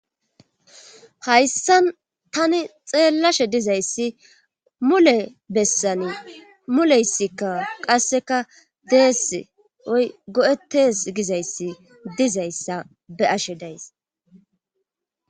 Hayssa tani xeellashe dizayssi mule bessani muleysikka qasseka deess oy go7ettes gizayssi dizayssa be'ashe days.